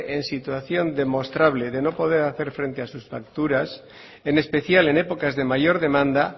en situación demostrable de no poder hacer frente a sus facturas en especial en épocas de mayor demanda